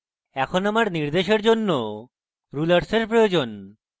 এখন আমার নির্দেশের জন্য rulers প্রয়োজন